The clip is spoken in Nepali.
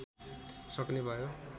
सक्ने भयो